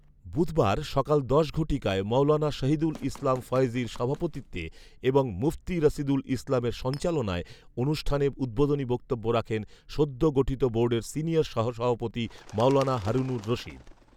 বুধবার, সকাল দশ ঘটিকায় মাওলানা শহিদুল ইসলাম ফয়েজীর সভাপতিত্বে এবং মুফতী রাশিদুল ইসলামের সঞ্চালনায় অনুষ্ঠানে উদ্বোধনী বক্তব্য রাখেন সদ্য গঠিত বোর্ডের সিনিয়র সহ সভাপতি মাওলানা হারুনুর রশিদ